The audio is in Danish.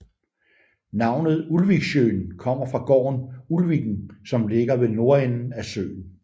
Navnet Ulviksjøen kommer fra gården Ulviken som ligger ved nordenden af søen